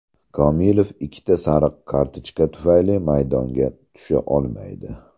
Komilov ikkita sariq kartochka tufayli maydonga tusha olmaydi.